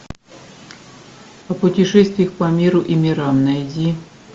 по пути шествий по миру и мирам найди